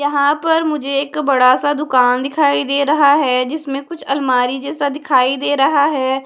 यहां पर मुझे एक बड़ा सा दुकान दिखाई दे रहा है जिसमें कुछ अलमारी जैसा दिखाई दे रहा है।